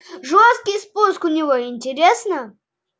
жёсткий спуск у него интересно